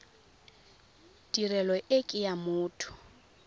tirelo e ke ya motho